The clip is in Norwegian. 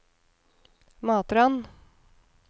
Matrand